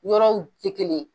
Yɔrɔw tɛ kelen ye.